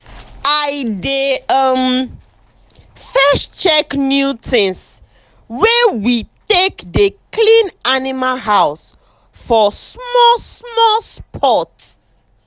i dey um first check new tins wey we take dey clean animal house for small small spot.